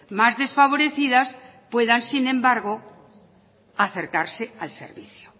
más desfavorecidas puedan sin embargo acercarse al servicio